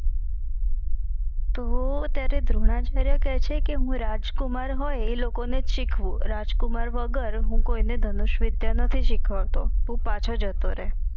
તો ત્યરે દ્રોણાચાર્ય કે છે કે હું રાજકુમાર હોય એલોકો નેજ સીખવું રાજકુમાર વગર હું કોઈને ધનુષ વિધ્ય નથી સિખવાડતો તું પાછો જતો રે